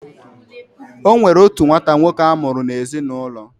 Onwere otu nwata nwoke amuru na ezi na ulo.